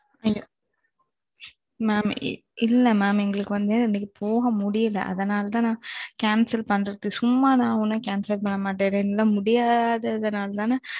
மாம் இல்ல மாம் எங்களுக்கு வந்து போக முடியல அதனால தான் cancel பண்றது சும்மா நான் ஒன்னும் பண்ண மாட்டேன் என்னால முடியாத நாலா தான் நா